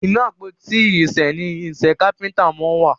Ínú àpótí irinṣẹ ní irinṣẹ kápẹ́ńtà món wá.